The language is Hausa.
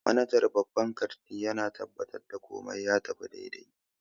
Manajan babban kanti yana tabbatar da komai ya tafi daidai